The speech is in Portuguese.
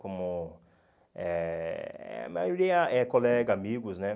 Como eh a maioria é colega, amigos, né?